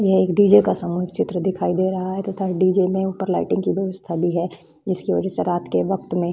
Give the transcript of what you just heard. यह एक डी.जे. का सामूहिक चित्र दिखाई दे रहा है तथा डी.जे. में ऊपर लाइटिंग की व्यवस्था भी है जिसके वजह से रात के वक्त में --